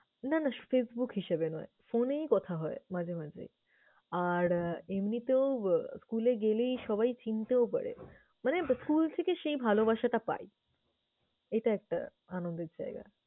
না না facebook হিসাবে নয়, phone এই কথা হয় মাঝে মাঝে। আর আহ এমনিতেও এ school এ গেলেই সবাই চিনতেও পারে। মানে school থেকে সেই ভালবাসাটা পাই, এটা একটা আনন্দের জায়গা।